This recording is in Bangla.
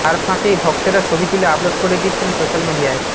তার ফাঁকেই ভক্তেরা ছবি তুলে আপলোড করে দিচ্ছেন সোশ্যাল মিডিয়ায়